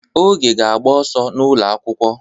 Oge ga-agba ọsọ n'ụlọ akwụkwọ.